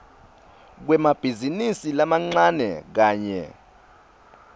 kwemabhizinisi lamancane kanye